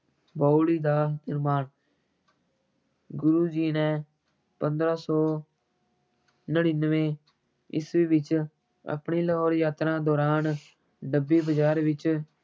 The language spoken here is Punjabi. ਬਾਉਲੀ ਦਾ ਨਿਰਮਾਣ ਗੁਰੂ ਜੀ ਨੇ ਪੰਦਰਾਂ ਸੌ ਨੜ੍ਹਿਨਵੇਂ ਈਸਵੀ ਵਿੱਚ ਆਪਣੀ ਲਾਹੌਰ ਯਾਤਰਾ ਦੌਰਾਨ ਡੱਬੀ ਬਜ਼ਾਰ ਵਿੱਚ